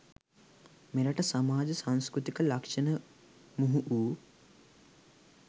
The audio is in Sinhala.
මෙරට සමාජ සංස්කෘතික ලක්ෂණ මුහු වූ